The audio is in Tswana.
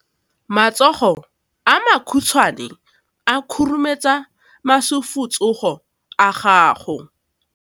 Matsogo a makhutshwane a khurumetsa masufutsogo a gago.